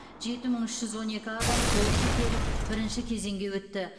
жеті мың үш жүз он екі адам толық тіркеліп бірінші кезеңге өтті